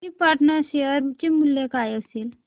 krypton share चे मूल्य काय असेल